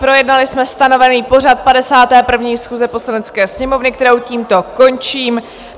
Projednali jsme stanovený pořad 51. schůze Poslanecké sněmovny, kterou tímto končím.